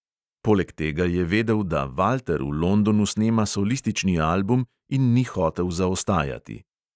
Poleg tega je vedel, da valter v londonu snema solistični album, in ni hotel zaostajati.